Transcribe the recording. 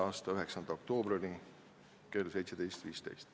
a 9. oktoobri kell 17.15.